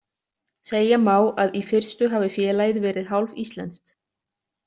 Segja má að í fyrstu hafi félagið verið hálf íslenskt.